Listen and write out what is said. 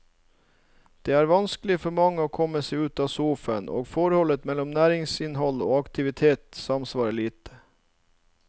Det er vanskelig for mange å komme seg ut av sofaen, og forholdet mellom næringsinnhold og aktivitet samsvarer lite.